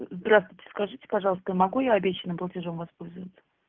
здравствуйте скажите пожалуйста я могу я обещанным платежом воспользоваться